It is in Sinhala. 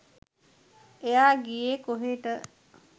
එයා ගියේ කොහෙට